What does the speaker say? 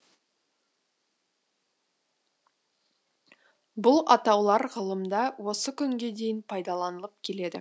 бұл атаулар ғылымда осы күнге дейін пайдаланылып келеді